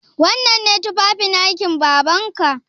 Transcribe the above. Wannan ne tufafin aikin Babanka?